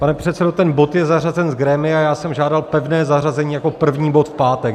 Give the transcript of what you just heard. Pane předsedo, ten bod je zařazen z grémia, já jsem žádal pevné zařazení jako první bod v pátek.